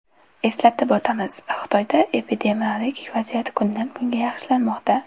Eslatib o‘tamiz, Xitoyda epidemiologik vaziyat kundan-kunga yaxshilanmoqda.